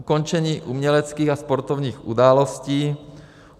ukončení uměleckých a sportovních událostí,